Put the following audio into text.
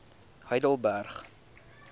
heidelberg